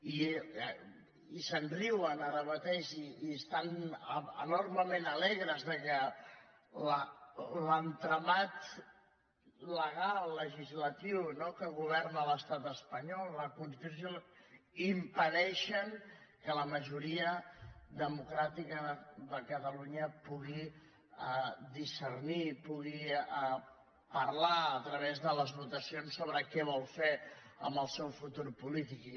i se’n riuen ara mateix i estan enormement alegres que l’entramat legal legislatiu no que governa l’estat espanyol la constitució impedeixen que la majoria democràtica de catalunya pugui discernir pugui parlar a través de les votacions sobre què vol fer amb el seu futur polític